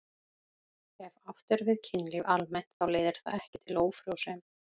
Ef átt er við kynlíf almennt þá leiðir það ekki til ófrjósemi.